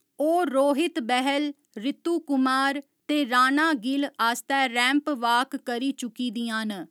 ओह् रोहित बहल, रितु कुमार ते राणा गिल आस्तै रैंप वाक करी चुकी दियां न।